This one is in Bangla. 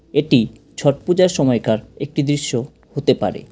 এটি ছট পূজার সময়কার একটি দৃশ্য হতে পারে।